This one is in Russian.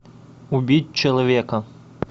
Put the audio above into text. убить человека